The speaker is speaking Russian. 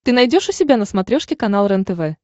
ты найдешь у себя на смотрешке канал рентв